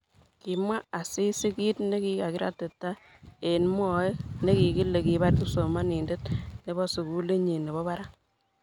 kimwa Asisi kiit nekikiratita eng mwae nekikile kibar kipsomaninde nebo sukulitnyin nebo barak